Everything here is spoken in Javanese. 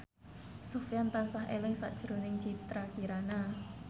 Sofyan tansah eling sakjroning Citra Kirana